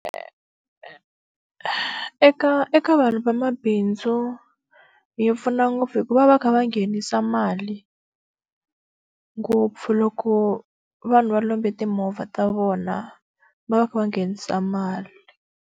Eka eka vanhu vamabindzu yi pfuna ngopfu hikuva va va va kha va nghenisa mali ngopfu loko vanhu va lomba timovha ta vona, va va va kha va nghenisa mali.